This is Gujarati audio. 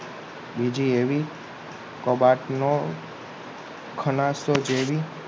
બીજી એવી કબાટનો ખલાસો જેવી